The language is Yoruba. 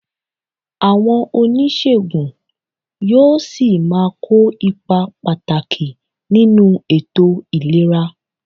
Àwọn oníṣègùn yóò ṣì máa kó ipa pàtàkì nínú ètò ìlera